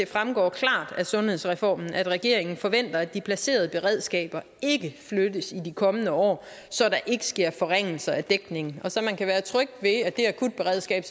fremgår af sundhedsreformen at regeringen forventer at de placerede beredskaber ikke flyttes i de kommende år så der ikke sker forringelser af dækningen og så man kan være tryg ved at det akutberedskab